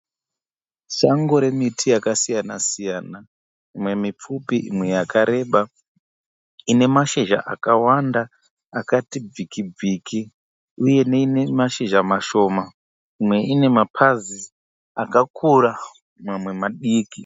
Sango remiti yakasiyana-siyana imwe mipfupi imwe yakareba ine mashizha akawanda, akati bviki bviki uye ine mazhizha mashoma imwe ine mapazi akakura mamwe madiki.